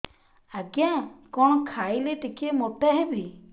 ଆଜ୍ଞା କଣ୍ ଖାଇଲେ ଟିକିଏ ମୋଟା ହେବି